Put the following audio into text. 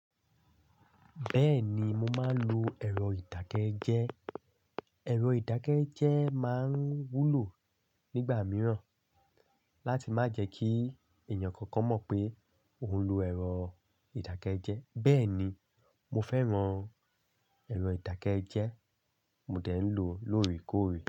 Bẹ́ẹ̀ni mo máa ń lo ẹ̀rọ ìdákẹ́jẹ́. Ẹ̀rọ ìdákẹ́jẹ́ máa ń wúlò nígbà mìíràn láti má jẹ kí èèyàn kankan mọ̀ pé òun ń lo ẹ̀rọ ìdákẹ́jẹ́. Bẹ́ẹ̀ni mo fẹ́ràn ẹ̀rọ ìdákẹ́jẹ́ mo dẹ̀ ń lò lóòrèkóòrè.